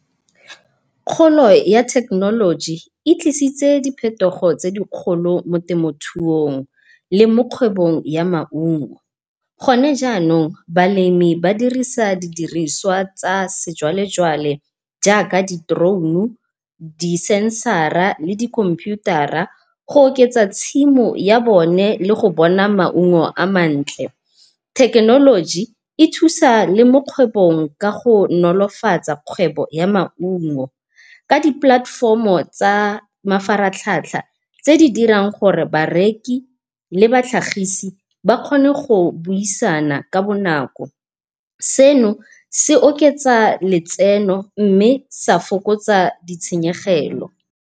Kgolo ya thekenoloji e tlisitse diphetogo tse dikgolo mo temothuong le mo kgwebong ya maungo. Gone jaanong balemi ba dirisa di diriswa tsa sejwalejwale jaaka di-drone, di-sensara le di-khomputara go oketsa tshimo ya bone le go bona maungo a mantle. Thekenoloji e thusa le mo kgwebong ka go nolofatsa kgwebo ya maungo, ka di-platfom-o tsa mafaratlhatlha tse di dirang gore bareki le batlhagisi ba kgone go buisana ka bonako, seno se oketsa letseno mme sa fokotsa ditshenyegelo.